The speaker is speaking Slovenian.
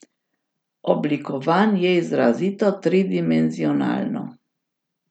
Oblikovan je izrazito tridimenzionalno.